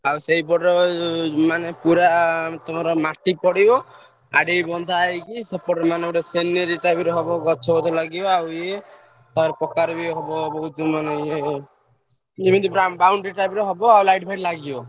ଆଉ ସେଇପଟ ର ମାନେ ପୁରା ତମର ମାଟି ପଡିବ ଆଡେ ବନ୍ଧା ହେଇକି ସେପଟେ ମାନେ ଗୋଟେ ସିନେରୀ type ର ହବ ଗଛ ଫାଛ ଲାଗିବ ଆଉ ଏ boundary type ର ହବ ଆଉ light ଫାଇଟ ଲାଗିବ।